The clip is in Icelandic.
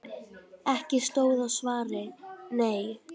Ekki stóð á svari: Nei!